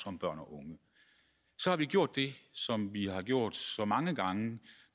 om børn og unge så har vi gjort det som vi har gjort så mange gange